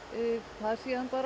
það síðan